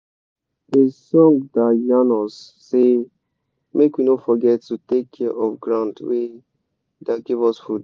de song da yan us say make we no forget to take care of ground wey da give us fod